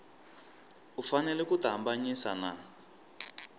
u fanele ku tihambanyisa na